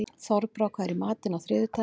Þorbrá, hvað er í matinn á þriðjudaginn?